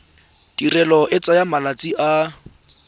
tirelo e tsaya malatsi a